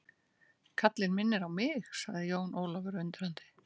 Kallinn minnir á mig, sagði Jón Ólafur undrandi.